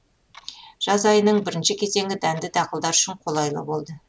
жаз айының бірінші кезеңі дәнді дақылдар үшін қолайлы болды